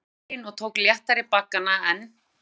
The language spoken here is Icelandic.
Hún vísaði veginn og tók léttari baggana en